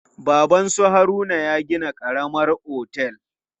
Baban su Haruna ya gina karamar otel.